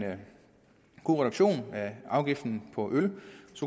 god reduktion af afgiften på øl